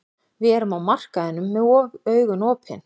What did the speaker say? Við erum á markaðinum með augun opin.